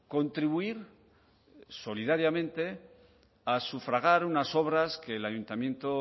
contribuir solidariamente a sufragar unas obras que el ayuntamiento